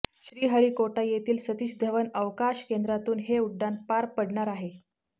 श्रीहरिकोटा येथील सतीश धवन अवकाश केंद्रातून हे उड्डाण पार पडणार आहे